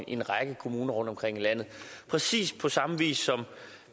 i en række kommuner rundtomkring i landet præcis på samme vis som